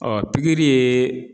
pikiri yee